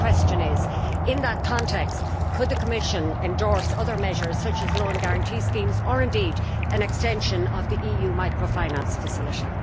My question is, in that context, could the Commission endorse other measures such as loan guarantee schemes or, indeed, an extension of the EU microfinance facility?